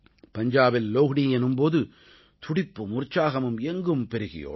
பஞ்சாபில் லோஹ்டீ எனும் போது துடிப்பும் உற்சாகமும் எங்கும் பெருகியோடும்